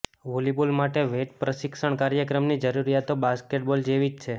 volleyball માટે weight પ્રશિક્ષણ કાર્યક્રમની જરૂરિયાતો બાસ્કેટબોલ જેવી જ છે